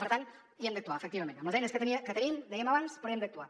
per tant hi hem d’actuar efectivament amb les eines que tenim dèiem abans però hi hem d’actuar